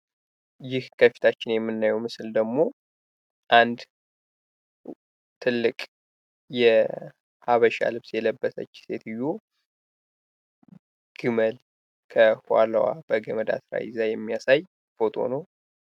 ይህ ከፊታችን የምናየው ምስል ደግሞ አንድ ትልቅ የሀበሻ ልብስ የለበሰች ሴትዮ ግመል ከኋላዋ አስራ እየጎተጎተች የሚያሳይ ፎቶ ነው።